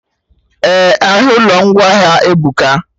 Eh, ahịa ụlọ ngwaahịa ebuka